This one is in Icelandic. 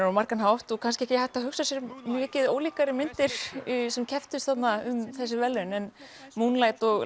á margan hátt og kannski ekki hægt að hugsa sér mikið ólíkari myndir sem kepptust þarna um þessi verðlaun en Moonlight og